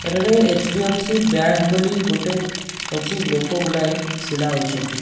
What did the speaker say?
ଏଠାରେ HDFC bank ବୋଲି ଗୋଟେ ଅଛି ଲୋକଗୁଡ଼ାଏ ଛିଡ଼ାହୋଇଛନ୍ତି।